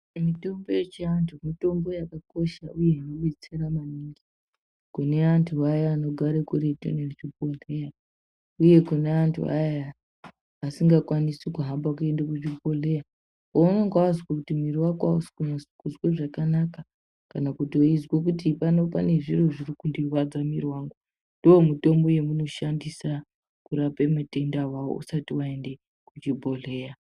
Mitombo yechiantu mitombo yakakosha uye inodetsera maningi kune antu vaya anogare kuretu nezvibhodhleya, uye kune antu aya aya asingakwanisi kuhamba kuende kuzvibhodhleya. Pounenge wazwe kuti mwiiri wako hausi kunyase kuzwe zvakanaka kana kuti weizwe kuti pano pane zviro zviri kundirwadza mwiiri wangu, ndomutombo yemunoshandiswa kurape matenda iwawawo usati waende kuchibhodhleya.